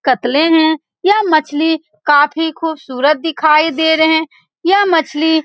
कतले है यह मछली काफी खूबसूरत दिखाई दे रहे है यह मछली --